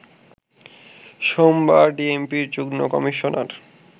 সোমবার ডিএমপির যুগ্ন কমিশনার